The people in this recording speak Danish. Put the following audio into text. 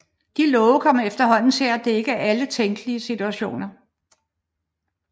De love kom efterhånden til at dække alle tænkelige situationer